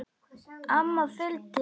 Amma fylgdi henni.